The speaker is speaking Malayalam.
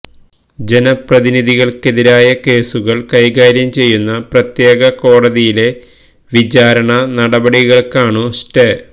ജനപ്രതിനിധികൾക്കെതിരായ കേസുകൾ കൈകാര്യം ചെയ്യുന്ന പ്രത്യേക കോടതിയിലെ വിചാരണ നടപടികൾക്കാണു സ്റ്റേ